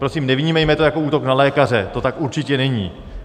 Prosím, nevnímejme to jako útok na lékaře, to tak určitě není.